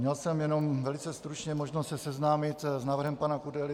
Měl jsem jenom velice stručně možnost se seznámit s návrhem pana Kudely.